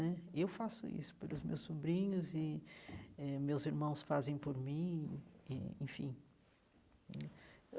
Né eu faço isso pelos meus sobrinhos e eh meus irmãos fazem por mim e eh, enfim.